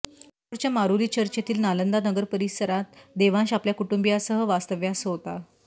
चेंबूरच्या Maroli church येथील नालंदा नगर परिसरात देवांश आपल्या कुटुंबियांसह वास्तव्यास होता